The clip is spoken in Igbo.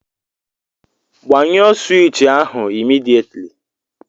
Gbanyụọ sụwich ahụ immediately!